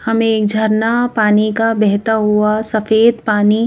हमें एक झरना पानी का बेहता हुआ सफेद पानी--